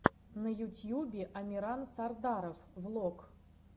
на ютьюбе амиран сардаров влог